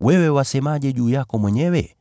Wewe wasemaje juu yako mwenyewe?”